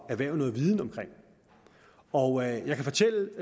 erhverve noget viden om og jeg kan fortælle